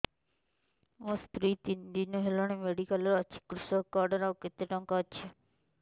ମୋ ସ୍ତ୍ରୀ ତିନି ଦିନ ହେଲାଣି ମେଡିକାଲ ରେ ଅଛି କୃଷକ କାର୍ଡ ରେ ଆଉ କେତେ ଟଙ୍କା ଅଛି